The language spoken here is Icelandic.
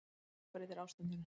Það gjörbreytir ástandinu